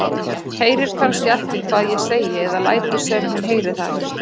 Heyrir kannski ekki hvað ég segi eða lætur sem hún heyri það ekki.